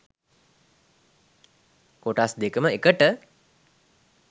කොටස් දෙකම එකට.